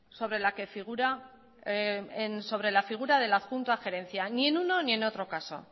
sobre la figura del adjunto a la gerencia ni en uno ni en otro caso